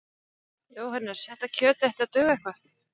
Jóhannes: Þetta kjöt ætti að duga eitthvað?